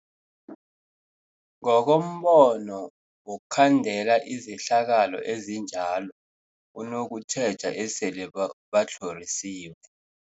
Ngokombono wokhandela izehlakalo ezinjalo kunokutjheja esele ba batlhorisiwe.